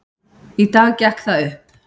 Í dag gekk það upp.